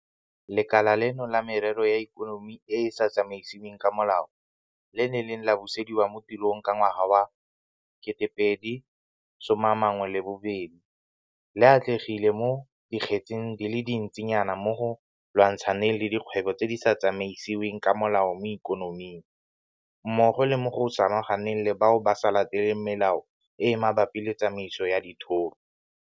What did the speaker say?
Lekala leno la Merero ya Ikonomi e e sa Tsamaisiweng ka Molao le le neng la busediwa mo tirong ka ngwaga wa 2018 le atlegile mo dikgetseng di le dintsinyana mo go lwantshaneng le dikgwebo tse di sa tsamaisiweng ka molao mo ikonoming, mmogo le mo go samaganeng le bao ba sa lateleng melao e e mabapi le tsamaiso ya dithoto.